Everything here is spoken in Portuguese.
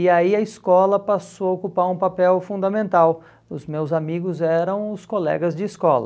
E aí a escola passou a ocupar um papel fundamental, os meus amigos eram os colegas de escola.